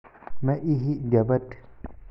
Ma lihi gabadh